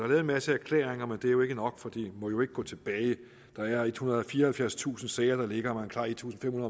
en masse erklæringer men det er ikke nok for det må jo ikke gå tilbage der er ethundrede og fireoghalvfjerdstusind sager der ligger man klarer en tusind fem